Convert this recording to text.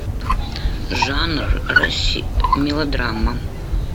жанр мелодрама